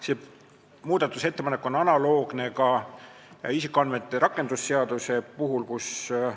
See muudatusettepanek on analoogne selle ettepanekuga, mis on tehtud ka isikuandmete rakendamise seaduse eelnõu kohta.